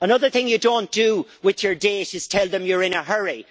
Another thing you don't do with your date is tell them you are in a hurry.